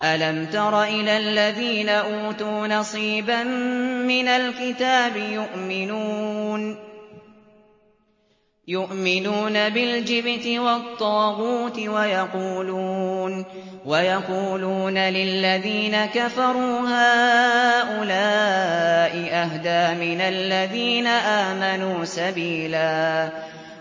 أَلَمْ تَرَ إِلَى الَّذِينَ أُوتُوا نَصِيبًا مِّنَ الْكِتَابِ يُؤْمِنُونَ بِالْجِبْتِ وَالطَّاغُوتِ وَيَقُولُونَ لِلَّذِينَ كَفَرُوا هَٰؤُلَاءِ أَهْدَىٰ مِنَ الَّذِينَ آمَنُوا سَبِيلًا